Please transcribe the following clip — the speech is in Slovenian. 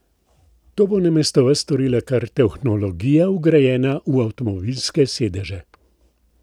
To bo namesto vas storila kar tehnologija vgrajena v avtomobilske sedeže.